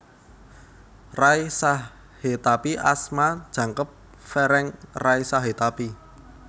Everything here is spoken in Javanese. Ray Sahetapy asma jangkep Ferenc Ray Sahetapy